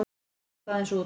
Ég datt aðeins út.